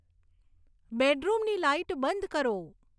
બેડરૂમની લાઈટ બંધ કરો